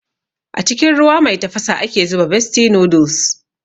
A cikin ruwa mai tafasa ake zuba bestie noodles